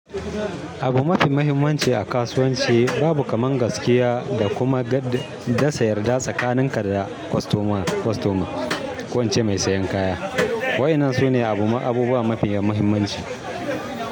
Abu mafi muhimmanci a kasuwanci, babu kamar gaskiya da kuma gad, dasa yarda tsakaninka da kostoma, kostoma, ko ince mai sayan kaya. Wa'yannan su ne abubuwa mafi muhimmanci.